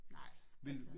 Nej altså